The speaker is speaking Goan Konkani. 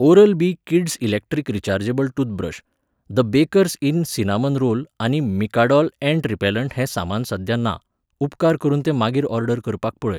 Oral B kids electric rechargeable toothbrush, the baker's dozen cinnamon roll आनी मिकाडोज यॅण्ड रिपॅलंट हें सामान सध्या ना, उपकार करून ते मागीर ऑर्डर करपाक पळय.